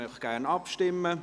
Wir möchten gerne abstimmen.